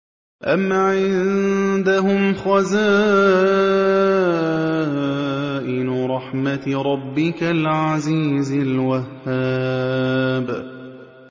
أَمْ عِندَهُمْ خَزَائِنُ رَحْمَةِ رَبِّكَ الْعَزِيزِ الْوَهَّابِ